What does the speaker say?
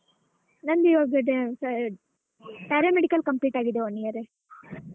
ನನ್ದು ಈವಾಗ Paramedical complete ಆಗಿದೆ one year .